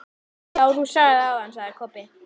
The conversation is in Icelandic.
Já, þú sagðir það áðan, sagði Kobbi.